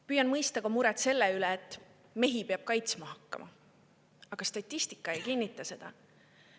Püüan mõista ka muret selle pärast, et mehi peab kaitsma hakkama, aga statistika ei kinnita seda.